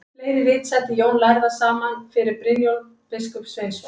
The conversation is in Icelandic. Fleiri rit setti Jón lærði saman fyrir Brynjólf biskup Sveinsson.